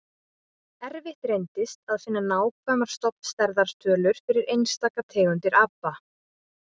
Erfitt reyndist að finna nákvæmar stofnstærðar tölur fyrir einstaka tegundir apa.